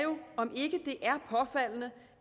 om ikke det